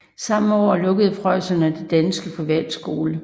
Samme år lukkede preusserne den sidste danske privatskole